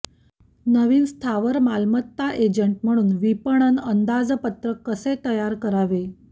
नवीन स्थावर मालमत्ता एजंट म्हणून विपणन अंदाजपत्रक कसे तयार करावे